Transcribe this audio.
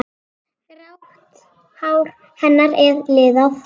Grátt hár hennar er liðað.